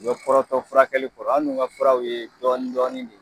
U be kɔrɔtɔ furakɛli kɔrɔ, an dun ka furaw ye dɔɔni dɔɔni de ye.